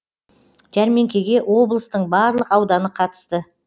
жәрмеңкеге облыстың барлық ауданы қатысты